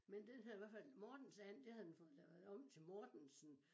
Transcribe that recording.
Men den havde hvert fald mortensand det havde den fået lavet om til Mortensen